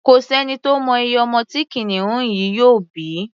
Kò sẹ́ni tó mọ iye ọmọ tí kìnìún yìí yóò bí.